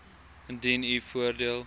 indien u voordeel